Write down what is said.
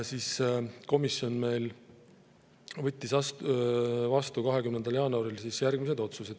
Komisjon võttis 20. jaanuaril vastu järgmised otsused.